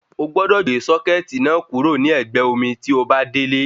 Ogbọ́dọ̀ gbé sọ́kẹ̀tì náà kúrò ní ẹ̀gbẹ́ omi tí obá délé